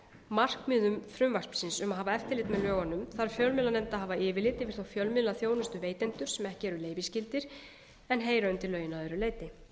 markmiðum frumvarpsins um að hafa eftirlit með lögunum þarf fjölmiðlanefnd að hafa yfirlit yfir þá fjölmiðlaþjónustuveitendur sem ekki eru leyfisskyldir en heyra undir lögin að öðru leyti